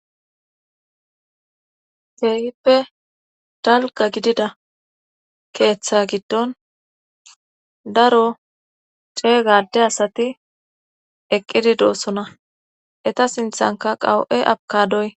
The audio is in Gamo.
Keehippe dalga gidida keeththa giddon daro cee gade asati eqqidi doossona eta sinthanka qawu'e abkadoy